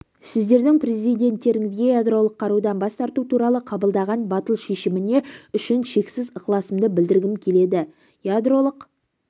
сіздердің президенттеріңізге ядролық қарудан бас тарту туралы қабылдаған батыл шешіміне үшін шексіз ықыласымды білдіргім келеді ядролық